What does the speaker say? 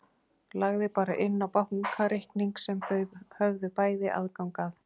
Lagði bara inn á bankareikning sem þau höfðu bæði aðgang að.